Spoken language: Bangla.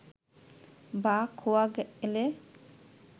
বা খোয়া গেলে